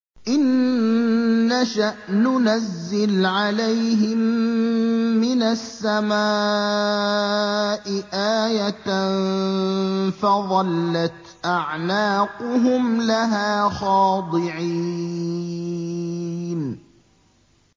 إِن نَّشَأْ نُنَزِّلْ عَلَيْهِم مِّنَ السَّمَاءِ آيَةً فَظَلَّتْ أَعْنَاقُهُمْ لَهَا خَاضِعِينَ